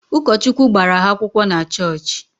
Ụkọchukwu gbara ha akwụkwọ na chọọchị